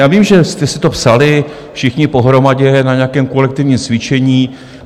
Já vím, že jste si to psali všichni pohromadě na nějakém kolektivním cvičení.